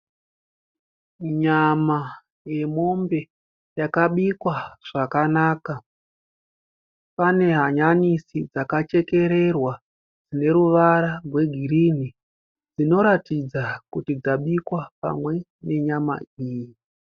Nyama yemombe yakabikwa zvakanaka. Pane hanyanisi dzakachekererwa dzine ruvara rwegirini dzinoratidza kuti dzabikwa pamwe nenyama iyi